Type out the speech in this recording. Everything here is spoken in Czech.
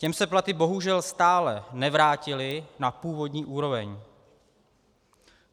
Těm se platy bohužel stále nevrátily na původní úroveň.